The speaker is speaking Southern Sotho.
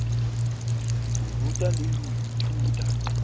ho ruta le ho ithuta